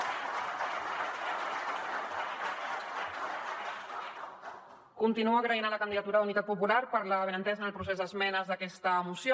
continuo donant les gràcies a la candidatura d’unitat popular per la bona entesa en el procés d’esmenes d’aquesta moció